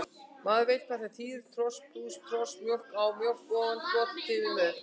Maður veit hvað það þýðir, tros plús tros, mjólk á mjólk ofan, flot yfir mör.